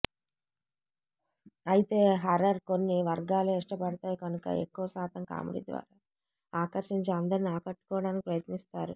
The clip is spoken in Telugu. అయితే హారర్ కొన్ని వర్గాలే ఇష్టపడతాయి కనుక ఎక్కువశాతం కామెడీ ద్వారా ఆకర్షించి అందర్నీ ఆకట్టుకోవడానికి ప్రయత్నిస్తారు